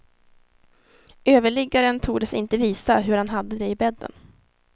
Överliggaren tordes inte visa hur han hade det i bädden.